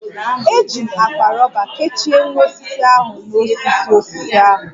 Eji m akpa rọba kechie nwa osisi ahu n'osisi osisi ahụ